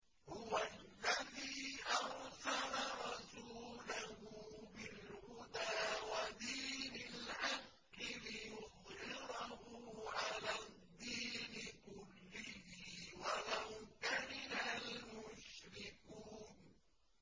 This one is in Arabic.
هُوَ الَّذِي أَرْسَلَ رَسُولَهُ بِالْهُدَىٰ وَدِينِ الْحَقِّ لِيُظْهِرَهُ عَلَى الدِّينِ كُلِّهِ وَلَوْ كَرِهَ الْمُشْرِكُونَ